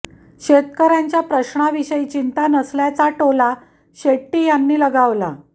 शेतकऱ्यांच्या प्रश्ना विषयी चिंता नसल्याचा टोला शेट्टी यांनी लगावला